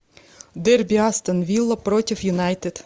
дерби астон вилла против юнайтед